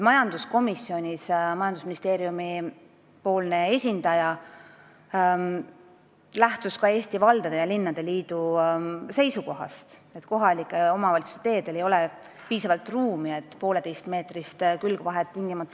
Majanduskomisjonis lähtus majandusministeeriumi esindaja ka Eesti Linnade ja Valdade Liidu seisukohast, et kohalike omavalitsuste teedel ei ole piisavalt ruumi, et tingimata pooleteistmeetrist külgvahet hoida.